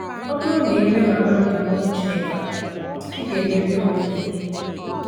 Ọ bụrụ na ị leghara ndụmọdụ Chineke anya, ị ga-emebi onwe gị ihe.”